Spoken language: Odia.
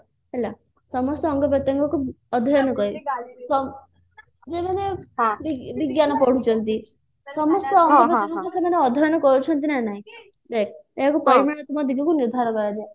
ହେଲା ସମସ୍ତ ଅଙ୍ଗ ପ୍ରତ୍ୟଙ୍ଗକୁ ଅଧ୍ୟୟନ କରି ବିଜ୍ଞାନ ପଢୁଛନ୍ତି ସମସ୍ତେ ମାନେ ଅଧ୍ୟୟନ କରୁଛନ୍ତି ନା ନାହିଁ ଦେଖ ଏହାକୁ ପରିମାଣାତ୍ମକ ଦିଗକୁ ନିର୍ଦ୍ଧାର କରାଯିବ